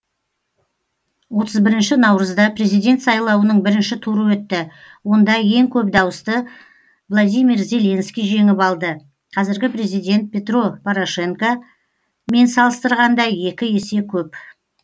отыз бірінші наурызда президент сайлауының бірінші туры өтті онда ең көп дауысты владимир зеленский жеңіп алды қазіргі президент петро порошенко мен салыстырғанда екі есе көп